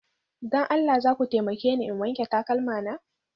Don Allah za ku taimake ni in wanke takalma na?